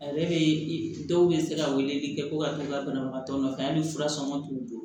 A yɛrɛ bɛ dɔw bɛ se ka weleli kɛ ko ka kɛ ka banabagatɔ nɔfɛ hali fura sɔngɔ t'u bolo